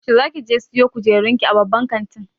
Yaushe zakije siyo kujerun ki a babban kantin.